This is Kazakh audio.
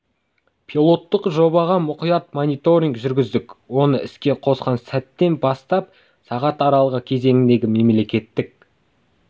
пилоттық жобаға мұқият мониторинг жүргіздік оны іске қосқан сәттен бастап сағат аралығы кезеңінде мемлекеттік